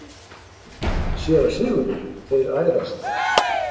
SÉRA SIGURÐUR: Þeir ærast!